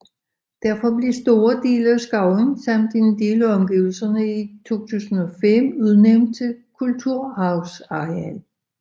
Derfor blev store dele af skoven samt en del af omgivelserne i 2005 udnævnt til Kulturarvsareal